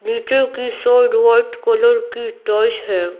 नीचे की side white colour की टॉइस है।